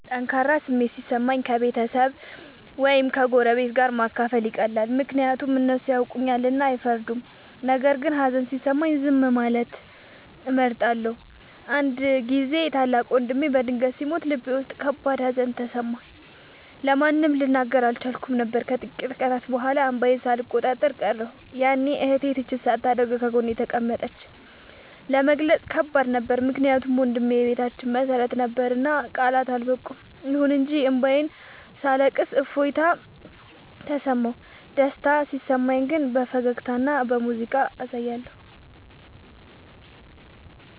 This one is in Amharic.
ጠንካራ ስሜት ሲሰማኝ ከቤተሰብ ወይም ከጎረቤት ጋር ማካፈል ይቀላል፤ ምክንያቱም እነሱ ያውቁኛልና አይፈርዱም። ነገር ግን ሀዘን ሲሰማኝ ዝም ማለትን እመርጣለሁ። አንድ ጊዜ ታላቅ ወንድሜ በድንገት ሲሞት ልቤ ውስጥ ከባድ ሀዘን ተሰማኝ፤ ለማንም ልናገር አልቻልኩም ነበር። ከጥቂት ቀናት በኋላ እንባዬን ሳልቆጣጠር ቀረሁ፤ ያኔ እህቴ ትችት ሳታደርግ ጎኔ ተቀመጠች። ለመግለጽ ከባድ ነበር ምክንያቱም ወንድሜ የቤታችን መሰረት ነበርና ቃላት አልበቁም። ይሁን እንጂ እንባዬን ሳለቅስ እፎይታ ተሰማሁ። ደስታ ሲሰማኝ ግን በፈገግታና በሙዚቃ አሳያለሁ።